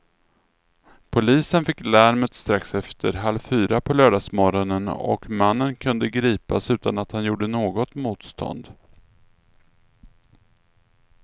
Polisen fick larmet strax efter halv fyra på lördagsmorgonen och mannen kunde gripas utan att han gjorde något motstånd.